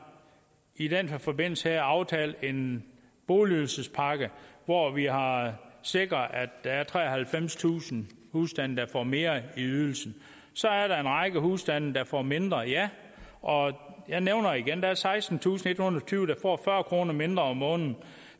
i den her forbindelse aftalt en boligydelsespakke hvori vi har sikret at der er treoghalvfemstusind husstande der får mere i ydelse så er der en række husstande der får mindre ja og jeg nævner igen der er sekstentusinde og ethundrede og tyve der får fyrre kroner mindre om måneden